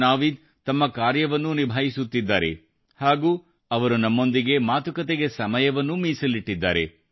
ನಾವೀದ್ ತಮ್ಮ ಕಾರ್ಯವನ್ನೂ ನಿಭಾಯಿಸುತ್ತಿದ್ದಾರೆ ಹಾಗೂ ಅವರು ನಮ್ಮೊಂದಿಗೆ ಮಾತುಕತೆಗೆ ಸಮಯವನ್ನೂ ಮೀಸಲಿಟ್ಟಿದ್ದಾರೆ